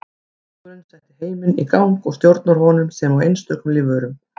Hugurinn setti heiminn í gang og stjórnar honum sem og einstökum lífverum.